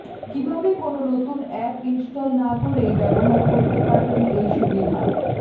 কীভাবে কোনও নতুন অ্যাপ ইন্সটল না করেই ব্যাবহার করতে পারবেন এই সুবিধা